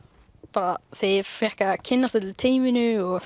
bara þegar ég fékk að kynnast öllu teyminu og